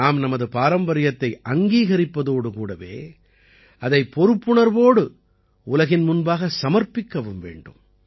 நாம் நமது பாரம்பரியத்தை அங்கீகரிப்பதோடு கூடவே அதைப் பொறுப்புணர்வோடு உலகின் முன்பாக சமர்ப்பிக்கவும் வேண்டும்